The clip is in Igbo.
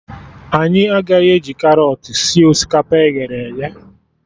Anyị agaghị eji karọt sie osikapa e ghere eghe